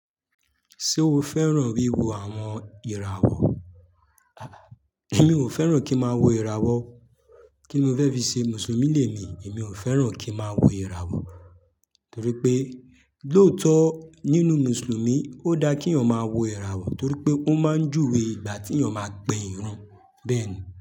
Ṣé o fẹ́ràn wíwo àwọn ìràwọ̀? Èmi ò fẹ́ràn kí n máa wo ìràwọ̀. Kí ni mó fẹ́ fi ṣe Mùsùlùmí lẹ mi, èmi ò fẹ́ràn kí n máa wo ìràwọ̀. Torí pé lóòótọ́ nínú Mùsùlùmí ó dá kí eeyan máa wo ìràwọ̀ torí pé ó máa ń júwe ìgbà tí èeyàn máa ń pe ìrun. Bẹ́ẹ̀ ni.